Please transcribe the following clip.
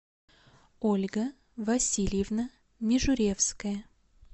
ольга васильевна мижуревская